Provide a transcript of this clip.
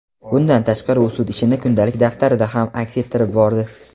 Bundan tashqari u sud ishini kundalik daftarida ham aks ettirib bordi.